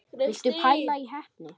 Viltu pæla í heppni!